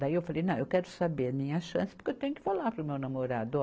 Daí eu falei, não, eu quero saber a minha chance, porque eu tenho que falar para o meu namorado.